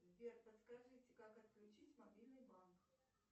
сбер подскажите как отключить мобильный банк